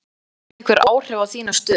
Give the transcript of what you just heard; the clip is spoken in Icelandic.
Sindri: Áhyggjufullur að missa vinnuna?